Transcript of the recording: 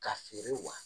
Ka feere wa